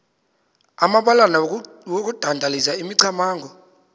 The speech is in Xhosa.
amabalana okudandalazisa imicamango